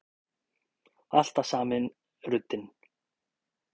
Alltaf sami ruddinn.